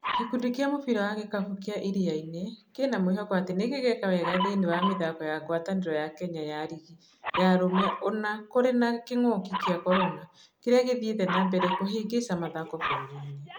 Gĩkundi kĩa mũbira wa gĩkabũ kĩa Iriainĩ kĩna mwĩhoko atĩ nĩgĩgeka wega thĩinĩ wa mĩthako ya ngwatanĩro ya Kenya ya rigi ya arũme ũna kũrĩ na kĩng'uki kĩa korona kĩrĩa gĩthiĩte na mbere kuhĩngĩca mathako bũrũriinĩ.